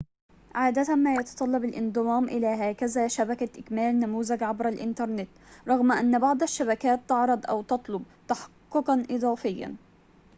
عادة ما يتطلب الانضمام إلى هكذا شبكة إكمال نموذج عبر الإنترنت رغم أن بعض الشبكات تعرض أو تطلب تحققًا إضافيًا